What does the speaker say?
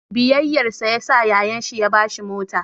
Biyayyarsa yasa yayan shi ya ba shi mota.